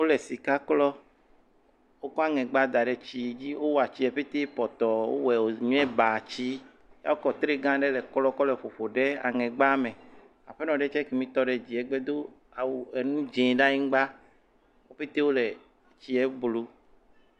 Wole sika klɔm. wokɔ aŋɛgba daɖe tsie dzi, wowɔe tsie ƒete pɔtɔ, wowɔe wonye bat si. Ekɔ tre gã aɖe le klɔm kɔ le kɔkɔ ɖe aŋɛgba me. Aƒenɔ ɖe tse ekemi tɔ ɖe dzie gbe do awu enu dzɛ ɖe anyigba. Wo ƒete wo le tsie blu